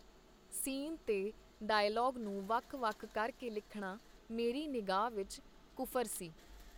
Scene ਤੇ dialogue ਨੂੰ ਵਖ ਵਖ ਕਰ ਕੇ ਲਿਖਣਾ ਮੇਰੀ ਨਿਗਾਹ ਵਿਚ ਕੁਫਰ ਸੀ.